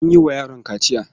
An yi wa yaron kaciya.